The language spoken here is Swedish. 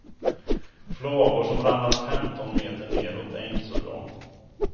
Flagor som ramlar femton meter nedåt är inte så bra.